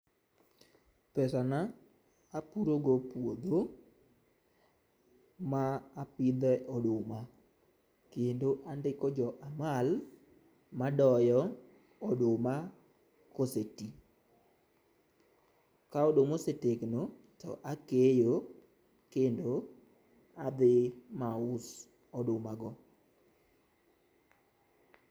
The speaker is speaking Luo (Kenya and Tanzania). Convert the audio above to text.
Pesa na apuro go puodho, ma apidhe e oduma kendo andiko jo amal ma doyo oduma ka ose tii. Ka oduma osetegno to akeyo kendo to akawo adhi ma aus oduma go.